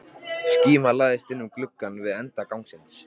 Skíma læðist inn um glugga við enda gangsins.